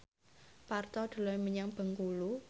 Parto dolan menyang Bengkulu